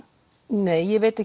nei ég veit